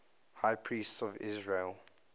high priests of israel